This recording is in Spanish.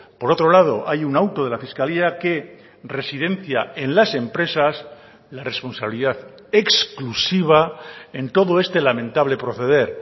por otro lado hay un auto de la fiscalía que residencia en las empresas la responsabilidad exclusiva en todo este lamentable proceder